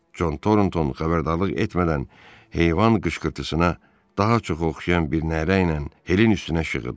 Con Tornton xəbərdarlıq etmədən heyvan qışqırtısına daha çox oxşayan bir nərə ilə Helin üstünə şığıdı.